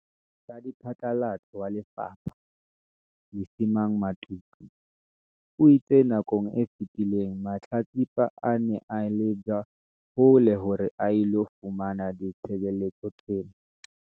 Radiphatlalatso wa lefapha, Lesemang Matuka, o itse nakong e fetileng mahlatsipa a ne a leba hole hore a ilo fumana ditshebeletso tsena.